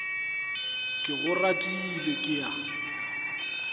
ke go ratile ke a